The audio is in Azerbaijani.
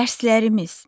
Dərslərimiz.